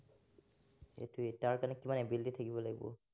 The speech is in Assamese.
সেইটোৱেই, তাৰ কাৰনে কিমান ability থাকিব লাগিব।